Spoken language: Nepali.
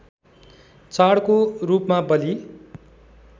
चाडको रूपमा बलि